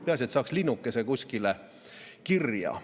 Peaasi, et saaks linnukese kuskile kirja.